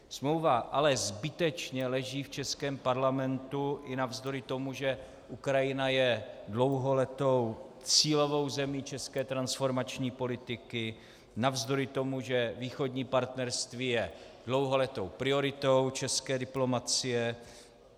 Smlouva ale zbytečně leží v českém parlamentu i navzdory tomu, že Ukrajina je dlouholetou cílovou zemí české transformační politiky, navzdory tomu, že Východní partnerství je dlouholetou prioritou české diplomacie.